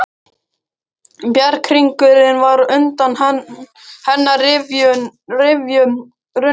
Bjarghringurinn var undan hennar rifjum runninn.